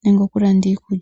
nenge okulanda iikulya.